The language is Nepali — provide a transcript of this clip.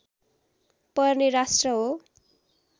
पर्ने राष्ट्र हो